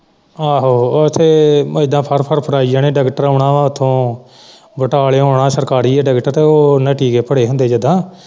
ਆਹੋ ਉੱਥੇ ਇਦਾਂ ਫੜ ਫੜ ਕਰਾਈ ਜਾਣੇ ਡਾਕਟਰ ਆਉਣਾ ਹੈ ਉੱਥੋਂ ਬਟਾਲਿਉਂ ਆਉਣਾ ਹੈ ਸਰਕਾਰੀ ਹੈ ਡਾਕਟਰ ਤੇ ਉਹਨੇ ਟੀਕੇ ਭਰੇ ਹੁੰਦੇ ਜਿਦਾਂ।